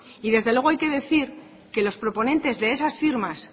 y desde luego hay que decir que los proponentes de esas firmas